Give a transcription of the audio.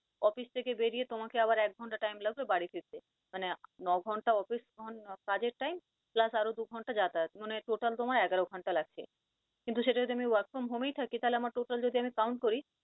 office থেকে বেড়িয়ে তোমাকে আবার এক ঘণ্টা time লাগবে বাড়ি ফিরতে, মানে ন ঘণ্টা office কাজের time প্লাস আরও দু ঘণ্টা যাতায়াত মানে total তোমার এগারো ঘণ্টা লাগছে। কিন্তু সেটা যদি আমি work from home এই থাকি তাহলে আমার total যদি আমি count করি